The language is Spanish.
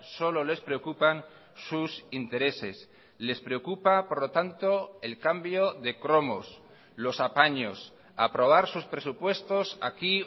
solo les preocupan sus intereses les preocupa por lo tanto el cambio de cromos los apaños aprobar sus presupuestos aquí